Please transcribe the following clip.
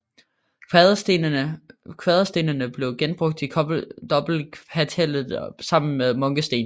Kvaderstenene blev genbrugt i dobbeltkapellet sammen med munkesten